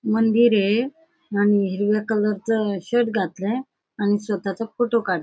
मंदिर ये आणि हिरव्या कलरचं शर्ट घातलय आणि स्वतःचा फोटो काढ--